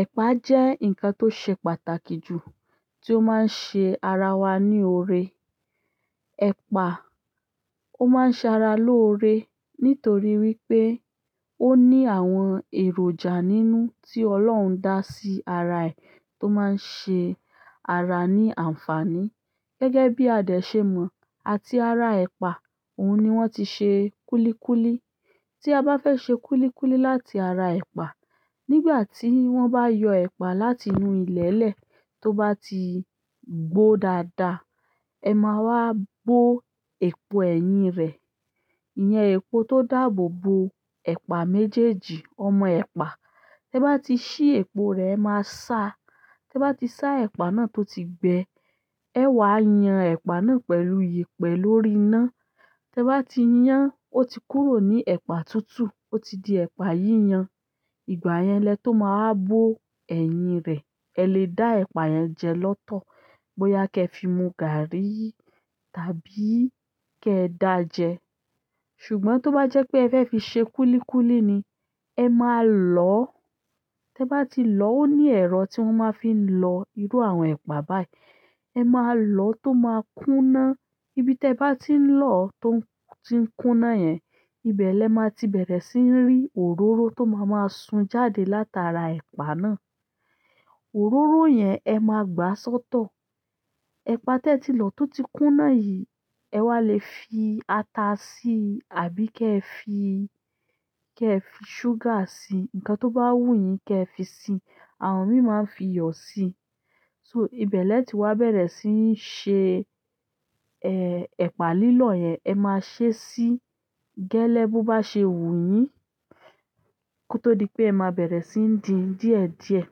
Ẹ̀pà jẹ́ ǹkan tó ṣe pàtàkì jù tí ó máa ń ṣe ara wá ní oore. Epa, o maa n se ara lore, nítorí wípé, o ni àwọn èròjà nínú ti ọlọ́run daa si ara ee, o man se ara ni anfani. Gẹ́gẹ́ bi a de se mo, àti ara epa oun ni won ti se kulikuli. Tí a bá fẹ́ ṣe kúlíkúlí láti ara ẹ̀pà, nígbà tí wọ́n bá yọ ẹ̀pà láti inú ilẹ̀lẹ̀ tó bá ti gbó dáadáa, ẹ máa wá bó epo ẹ̀yìn rẹ̀. Iyẹn epo tó dáàbò bo ẹ̀pà méjèèjì, ọmọ ẹ̀pà. Tẹ bá ti ṣí epo rẹ ẹ máa sá. Tẹ bá ti sá ẹ̀pà náà tó ti gbẹ, ẹ wá yan ẹ̀pà náà pẹ̀lú yẹ̀pẹ̀ lórí iná. Tẹ bá ti yan ó ti kúrò ní ẹ̀pà tútù ó ti di ẹ̀pà yíyan. Ìgbà yẹn lẹ tó máa wá bó ẹ̀yìn rẹ̀. Ẹ lè dá ẹ̀pà yẹn jẹ lọ́tọ̀ bóyá kẹ fi mu gàárì tàbí kẹ dá jẹ. Ṣùgbọ́n tó bá jẹ́ pé ẹ fẹ́ fi ṣe kúlíkúlí ni, ẹ máa lọ̀. Tẹ bá ti lọ̀ ó ní ẹ̀rọ tí wọ́n máa ń fi lọ irú àwọn ẹ̀pà báyìí. Ẹ máa lọ̀ tó máa kúná. Ibi tẹ bá ti ń lọ̀ tó ti ń kúná yẹn, ibẹ̀ lẹ máa ti bẹ̀rẹ̀ sí ń rí òróró tó máa máa sun jáde látara ẹ̀pà náà. Òróró yẹn ẹ máa gbá sọ́tọ̀. Epa teti lo to ti kuna yi, ewa lefi ata si àbí kefi sugar si, nǹkan to ba wu yin ke fi si. Àwọn mí ì máa ń fi iyọ̀ sí i. So ibẹ̀ lẹ ti wá bẹ̀rẹ̀ sí ń ṣe, eh, ẹ̀pà lílọ̀ yẹn. Ẹ máa ṣe sí i gẹ́lẹ́ bó bá ṣe wù yín kó tó di pé ẹ máa bẹ̀rẹ̀ sí ń dín díẹ̀díẹ̀.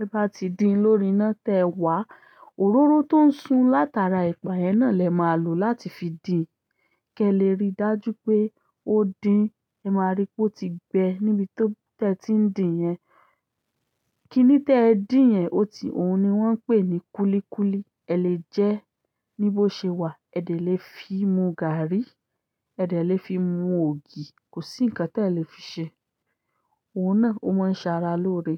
Tẹ bá ti dín lórí iná tẹ wá, òróró tó ń sun látara ẹ̀pà yẹn náà lẹ máa lò láti fi dín. Kẹ lè rí dájú pé ó dín. Ẹ máa rí pé ó ti gbẹ níbi tó tẹ ti ń dín yẹn. Kíní tẹ dín yen ó ti, òun ni wọ́n ń pè ní kúlíkúlí. Ẹ lè jẹ ẹ ní bó ṣe wà. Ẹ de lè fi mu gàárì, ẹ de lè fi mu ògì. Kò sí ǹkan tẹ lè fi ṣe. Òun náà ó máa ń ṣe ara lóore.